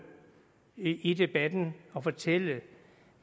i debatten og fortælle